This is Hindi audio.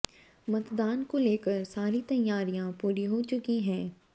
मतदान को लेकर सारी तैयारियां पूरी हो चुकी हैं